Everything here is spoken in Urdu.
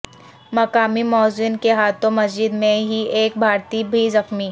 مقامی موذن کے ہاتھوں مسجد میں ہی ایک بھارتی بھی زخمی